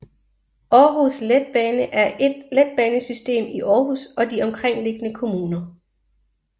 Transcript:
Aarhus Letbane er et letbanesystem i Aarhus og de omkringliggende kommuner